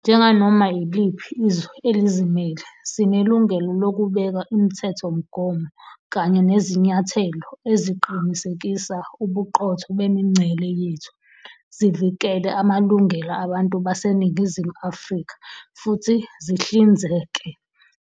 Njenganoma iliphi izwe elizimele, sinelungelo lokubeka imithethomgomo kanye nezinyathelo eziqinisekisa ubuqotho bemingcele yethu, zivikele amalungelo abantu baseNingizimu Afrika futhi zihlinzeke